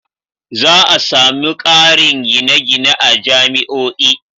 Za a sami ƙarin gine-gine a jami'o'i.